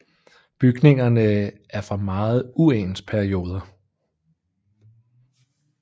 Bygningerne er fra meget uens perioder